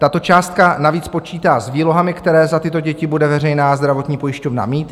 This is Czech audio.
Tato částka navíc počítá s výlohami, které za tyto děti bude veřejná zdravotní pojišťovna mít.